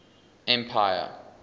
empire